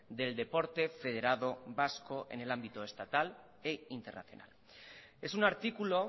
del deporte federado vasco en el ámbito estatal e internacional es un artículo